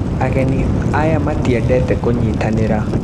Ageni aya matiendete kũnyitanira